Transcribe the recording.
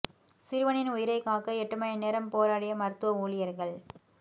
சிறுவனின் உயிரைக் காக்க எட்டு மணி நேரம் போராடிய மருத்துவ ஊழியர்கள்